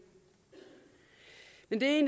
men det